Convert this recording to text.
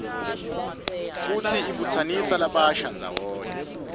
futsi ibutsanisa labasha ndzawonye